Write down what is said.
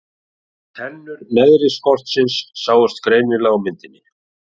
Tennur neðri skoltsins sjást greinilega á myndinni.